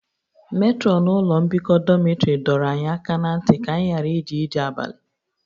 Metrọnụ ụlọ mbikọ dọmịtrị dọrọ anyị aka ná ntị ka anyị ghara ije ije abalị